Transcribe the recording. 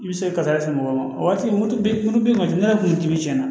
I bɛ se kasara se mɔgɔ ma o waati moto bɛ moto ne yɛrɛ kun bɛ cɛnna